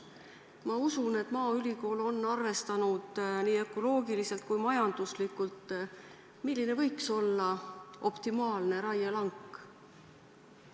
Ma usun, et maaülikool on nii ökoloogiliselt kui ka majanduslikult välja arvestanud, milline võiks olla optimaalne raielangi suurus.